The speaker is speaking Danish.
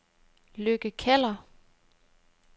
Lykke Keller